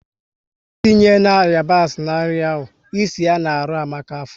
É tinye na yabasi na nri ahụ! É si ya na arụ Amaka afọ